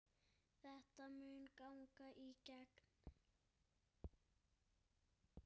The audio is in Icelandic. Þetta mun ganga í gegn.